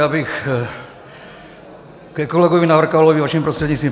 Já bych ke kolegovi Navrkalovi, vaším prostřednictvím.